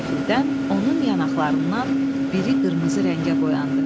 Qəfildən onun yanaqlarından biri qırmızı rəngə boyandı.